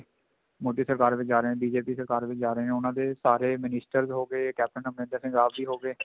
ਮੋਦੀ ਸਰਕਾਰ ਵਿੱਚ ਜਾ ਰਹੇ ਨੇ BJP ਸਰਕਾਰ ਵਿੱਚ ਜਾ ਰਹੇ ਨੇ ਉਹ ਉਹਨਾ ਦੇ ਸਾਰੇ minister ਹੋਗੇ ਕੈਪਟਨ ਅਮਰਿੰਦਰ ਸਿੰਘ ਆਪ ਵੀ ਹੋਗੇ